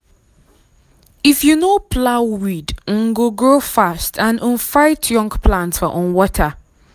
if you no plow weed um go grow fast and um fight young plant for um water.